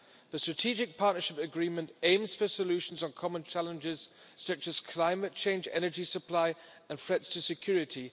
The Strategic Partnership Agreement aims for solutions on common challenges such as climate change, energy supply and threats to security.